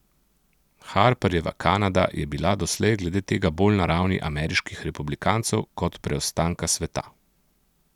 Harperjeva Kanada je bila doslej glede tega bolj na ravni ameriških republikancev kot preostanka sveta.